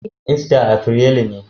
Ista aprelu ne.